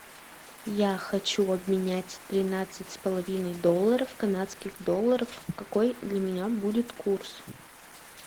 я хочу обменять тринадцать с половиной долларов в канадских долларов какой для меня будет курс